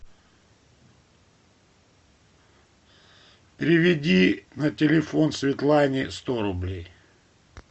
переведи на телефон светлане сто рублей